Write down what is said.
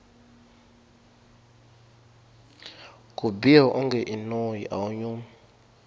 ku biha wonge i noyi awu nyumi